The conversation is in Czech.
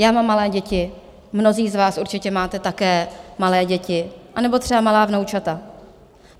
Já mám malé děti, mnozí z vás určitě máte také malé děti, anebo třeba malá vnoučata.